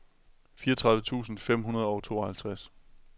fireogtredive tusind fem hundrede og tooghalvtreds